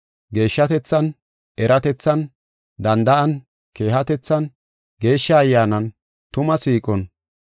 geeshshatethan, eratethan, danda7an, keehatethan, Geeshsha Ayyaanan, tuma siiqon,